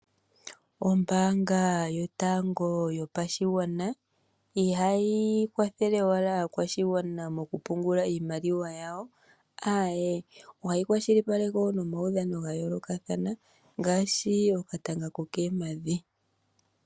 Ombaanga yotango yopashigwana ihayi kwathele owala aakwashigwana mokupungula iimaliwa yawo, aaye ohayi kwashilipaleke wo nomawudhano gayoolokathana ngaashi, okatanga kokoompadhi.